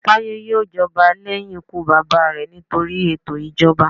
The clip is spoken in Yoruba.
Tayo yoò jọba lẹhin ikú baba rẹ nitori eto ijọba.